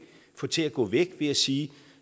få til at gå væk ved at sige